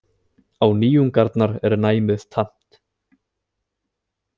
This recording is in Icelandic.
Á nýjungarnar er næmið tamt.